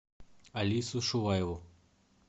алису шуваеву